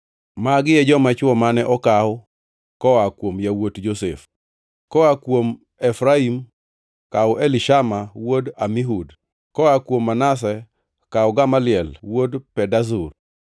Magi e joma chwo mane okaw koa kuom yawuot Josef: koa kuom Efraim, kaw Elishama wuod Amihud; koa kuom Manase, kaw Gamaliel wuod Pedazur;